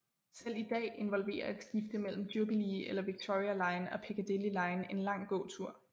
Selv i dag involverer et skifte mellem Jubilee eller Victoria line og Piccadilly line en lang gåtur